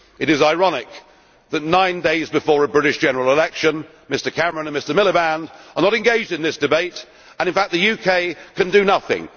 It is ironic that nine days before a British general election, Mr Cameron and Mr Miliband are not engaged in this debate, and in fact the UK can do nothing.